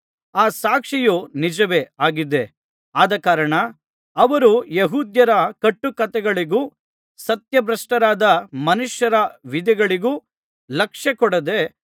ಈ ಸಾಕ್ಷಿಯು ನಿಜವೇ ಆಗಿದೆ ಆದಕಾರಣ ಅವರು ಯೆಹೂದ್ಯರ ಕಟ್ಟುಕಥೆಗಳಿಗೂ ಸತ್ಯಭ್ರಷ್ಟರಾದ ಮನುಷ್ಯರ ವಿಧಿಗಳಿಗೂ ಲಕ್ಷ್ಯಕೊಡದೆ